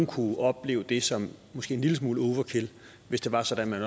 kunne opleve det som en lille smule overkill hvis det var sådan at man